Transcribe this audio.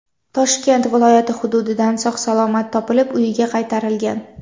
Toshkent viloyati hududidan sog‘-salomat topilib, uyiga qaytarilgan.